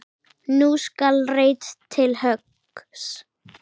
Nú skal reitt til höggs.